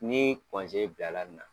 Ni bila la nin na